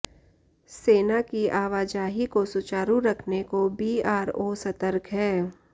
सेना की आवाजाही को सुचारू रखने को बीआरओ सतर्क है